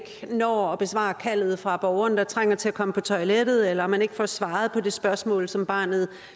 når at besvare kaldet fra borgeren der trænger til at komme på toilettet eller man ikke får svaret på det spørgsmål som barnet